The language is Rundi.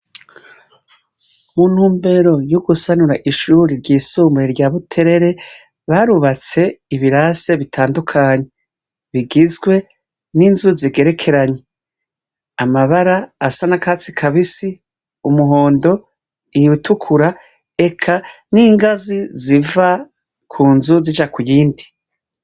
Mu ntumbero yo gusanura ishure ryisumbuye rya Buterere, barubatse ibirase bitandukanye, bigizwe ninzu zigerekeranye, amabara asa n'akatsi kabisi, umuhondo, iritukura eka n’ingazi ziva kunzu zija kuyindi.